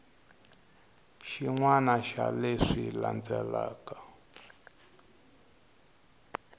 xin wana xa leswi landzelaka